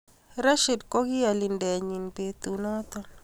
Rishid ko ki alintenyii betunoto.